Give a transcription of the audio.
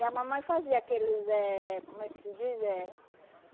E a mamãe fazia aqueles eh, como é que se diz? Eb